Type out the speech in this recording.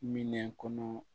Minɛn kɔnɔ